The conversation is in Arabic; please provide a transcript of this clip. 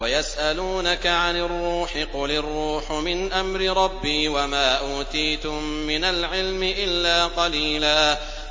وَيَسْأَلُونَكَ عَنِ الرُّوحِ ۖ قُلِ الرُّوحُ مِنْ أَمْرِ رَبِّي وَمَا أُوتِيتُم مِّنَ الْعِلْمِ إِلَّا قَلِيلًا